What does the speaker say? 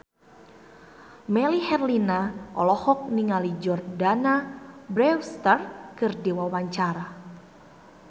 Melly Herlina olohok ningali Jordana Brewster keur diwawancara